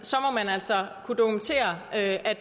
altså at